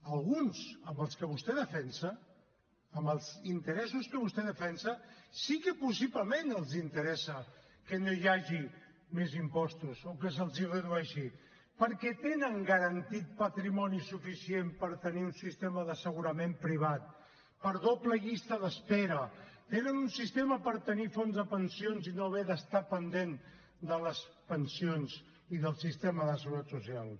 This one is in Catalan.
a alguns als que vostè defensa amb els interessos que vostè defensa sí que possiblement els interessa que no hi hagi més impostos o que se’ls redueixi perquè tenen garantit patrimoni suficient per tenir un sistema d’assegurament privat per doble llista d’espera tenen un sistema per tenir fons de pensions i no haver d’estar pendent de les pensions i del sistema de seguretat social